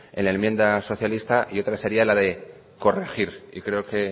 en la enmienda socialista y otra sería la de corregir yo creo que